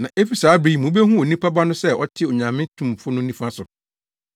Na efi saa bere yi mubehu Onipa Ba no sɛ ɔte Onyame Tumfo no nifa so.”